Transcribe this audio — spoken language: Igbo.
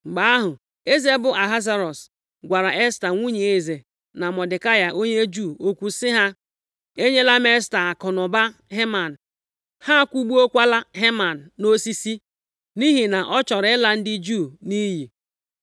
Mgbe ahụ, eze bụ Ahasuerọs gwara Esta nwunye eze na Mọdekai onye Juu okwu sị ha, “Enyela m Esta akụnụba Heman, ha akwụgbukwaala Heman nʼosisi, nʼihi na ọ chọrọ ịla ndị Juu nʼiyi.